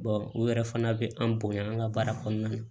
u yɛrɛ fana bɛ an bonya an ka baara kɔnɔna na